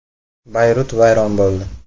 Bayrut vayron bo‘ldi.